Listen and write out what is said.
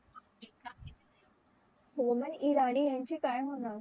human Irani ह्यांचे काय होणार